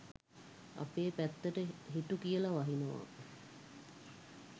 අපේ පැත්තට හිටු කියල වහිනවා